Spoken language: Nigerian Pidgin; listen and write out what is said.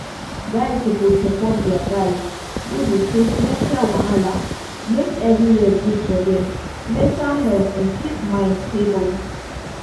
guys suppose support their guys wey dey face mental wahala make everywhere good for dem mental health and keep mind stable.